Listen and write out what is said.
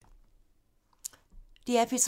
DR P3